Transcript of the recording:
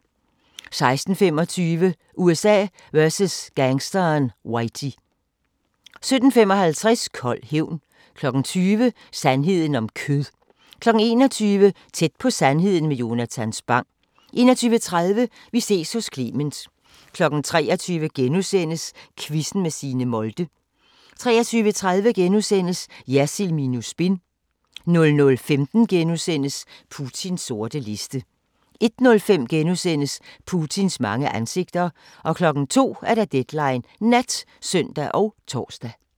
16:25: USA vs. gangsteren Whitey 17:55: Kold hævn 20:00: Sandheden om kød 21:00: Tæt på sandheden med Jonatan Spang 21:30: Vi ses hos Clement 23:00: Quizzen med Signe Molde * 23:30: Jersild minus spin * 00:15: Putins sorte liste * 01:05: Putins mange ansigter * 02:00: Deadline Nat (søn og tor)